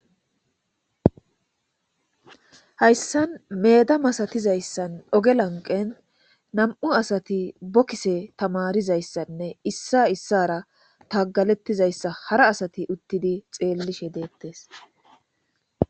Hayssan meeda masatizayssan oge lanqen nam7u asati bokise tamarizayssanne issa issara tagalettizayssa hara asati uttidi xeellishe deettes.